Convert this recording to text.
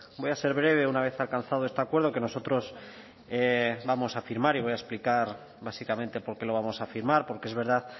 voy a ser breve una vez alcanzado este acuerdo que nosotros vamos a firmar y voy a explicar básicamente por qué lo vamos a firmar porque es verdad